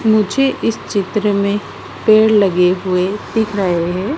मुझे इस चित्र में पेड़ लगे हुए दिख रहे हैं।